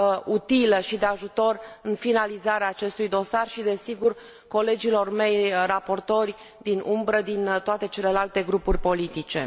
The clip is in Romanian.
utilă și de ajutor în finalizarea acestui dosar și, desigur, colegilor mei raportori din umbră din toate celelalte grupuri politice.